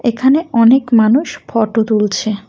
এখানে অনেক মানুষ ফটো তুলছে।